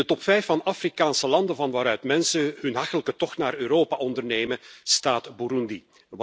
In de top 5 van Afrikaanse landen van waaruit mensen een hachelijke tocht naar Europa ondernemen, staat Burundi.